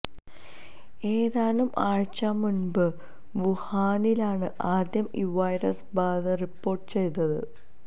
ഏതാനും ആഴ്ച മുന്പ് വുഹാനിലാണ് ആദ്യം ഈ വൈറസ് ബാധ റിപ്പോർട്ടുചെയ്തത്